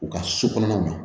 U ka so kɔnɔna na